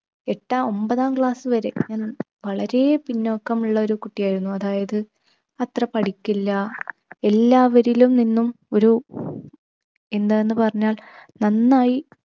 ഏട്ടാ ഒൻപതാം class വരെ ഞാൻ വളരെ പിന്നോക്കമുള്ള ഒരു കുട്ടിയായിരുന്നു അതായത് അത്ര പഠിക്കില് , എല്ലാവരിലും നിന്നും ഒരു എന്താന്ന് പറഞ്ഞാൽ നന്നായി